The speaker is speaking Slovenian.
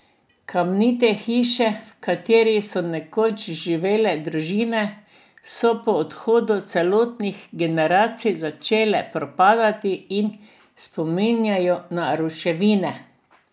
Kamnite hiše, v katerih so nekoč živele družine, so po odhodu celotnih generacij začeli propadati in spominjajo na ruševine.